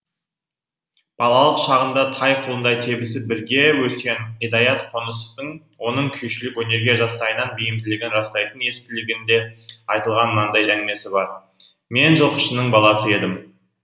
балалық шағында тай құлындай тебісіп бірге өскен идаят қонысовтың оның күйшілік өнерге жастайынан бейімділігін растайтын естелігінде айтылған мынандай әңгімесі бар мен жылқышының баласы едім